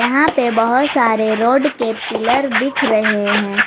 यहां पे बहोत सारे रॉड के पिलर दिख रहे हैं।